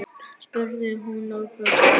spurði hún og brosti.